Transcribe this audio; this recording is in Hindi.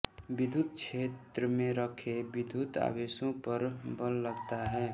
विद्युत क्षेत्र में रखे विद्युत आवेशों पर बल लगता है